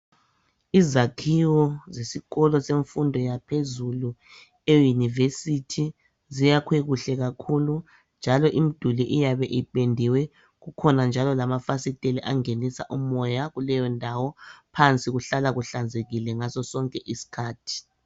Izakhiwo zesikolo semfundo yaphezulu e university ziyakhwe kuhle kakhulu njalo imduli iyabe ipendiwe , kukhona njalo lamafasiteli angenisa umoya kuleyondawo , phansi kuhlanzekile ngaso sonke iskhathi